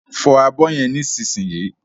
Fọ abọ́ yẹn nísinsìnyí